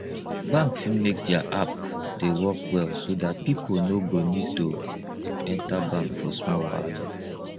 bank fit make their app dey work well so dat pipo no go need to enter bank for small wahala